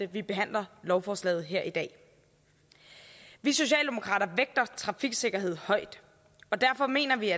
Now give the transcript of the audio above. vi behandler lovforslaget her i dag vi socialdemokrater vægter trafiksikkerhed højt og derfor mener vi